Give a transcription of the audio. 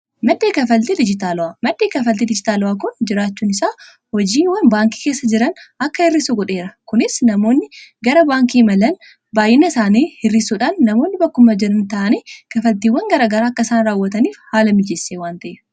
madhii kanfaaltii dijiitaalaawaa, madhii kanfaaltii dijiitaalaawaa kun jiraachuun isaa hojiiwwan baankii keessa jiraan akka hirriisu godheera kuniis namoonni garaa baankii imalaan baay'ina isaanii hirrisuudhaan namoonni bakkuma jiraan ta'anii kafaltiiwwan garagara akka isaan raawwataniif haala mijessee waan taheef.